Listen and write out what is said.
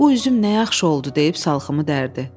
Bu üzüm nə yaxşı oldu deyib salxımı dərdi.